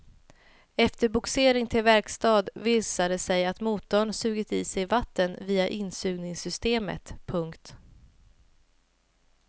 Efter bogsering till verkstad visade det sig att motorn sugit i sig vatten via insugningssystemet. punkt